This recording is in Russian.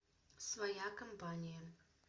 своя компания